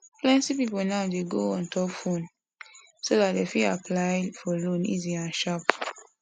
plenty people now dey go ontop phone so that dem fit apply for loan easy and sharp